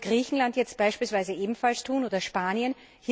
Soll das Griechenland jetzt beispielsweise ebenfalls tun, oder Spanien?